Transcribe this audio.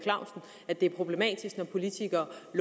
et politi